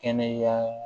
Kɛnɛya